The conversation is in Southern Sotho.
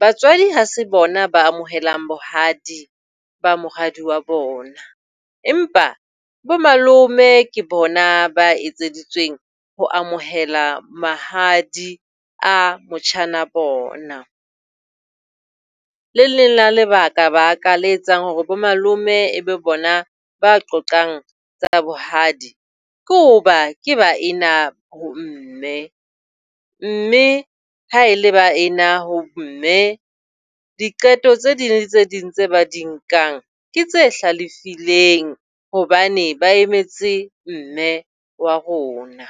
Batswadi ha se bona ba amohelang bohadi ba moradi wa bona. Empa bo malome ke bona ba etseditsweng ho amohela mahadi a motjhana bona. Le leng la lebakabaka le etsang hore bo malome e be bona ba qoqang tsa bohadi, ke hoba ke baena ho mme. Mme haele baena ho mme diqeto tse ding le tse ding tse ba di nkang ke tse hlalefileng hobane ba emetse mme wa rona.